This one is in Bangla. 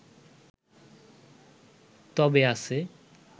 তবে আছে